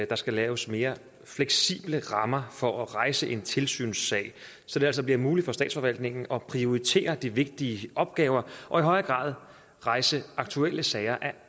der skal laves mere fleksible rammer for at rejse en tilsynssag så det altså bliver muligt for statsforvaltningen at prioritere de vigtige opgaver og i højere grad rejse aktuelle sager af